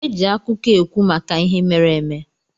Eji akụkọ ekwu maka ihe mere eme.